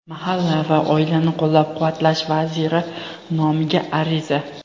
Mahalla va oilani qo‘llab-quvvatlash vaziri nomiga ariza;.